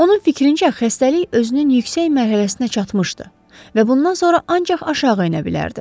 Onun fikrincə, xəstəlik özünün yüksək mərhələsinə çatmışdı və bundan sonra ancaq aşağı enə bilərdi.